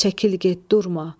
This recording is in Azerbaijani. Çəkil get, durma.